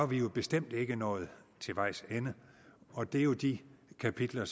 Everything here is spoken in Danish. vi jo bestemt ikke nået til vejs ende og det er jo de kapitler